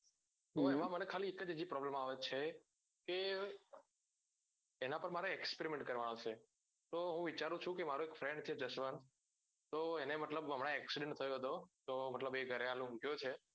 તો એમાં મને ખાલી એક જ હજુ પ્રોબ્લેમ આવે છે કે એના પાર મારે experiment કરવાનો છે તો હું વિચારુ ચુ કે મારો એક friend છે જસવંત તો એને મતલબ હમણાં એક્સ રે નો થયો તો મતલબ એ ગરે હાલ ગયો છે